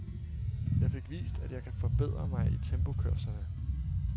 Jeg fik vist, at jeg kan forbedre mig i tempokørslerne.